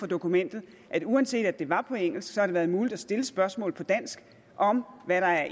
dokumentet at uanset at det var på engelsk har det været muligt at stille spørgsmål på dansk om